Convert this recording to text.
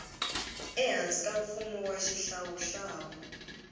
ehansi ka mfumo wa xihlawuhlawu